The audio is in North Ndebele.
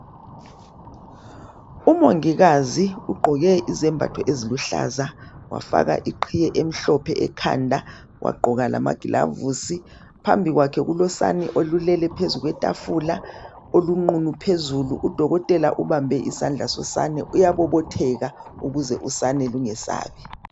Umongikazi ugqoke izembatho eziluhlaza Wafaka iqhiye emhlophe ekhanda. Wagqoka lamaglavusi. Phambi kwakhe kulosane olulele phezu kwetafula olunqunu phezulu . Udokotela ubambe isandla sosane uyabobotheka ukuze usane lungesabi.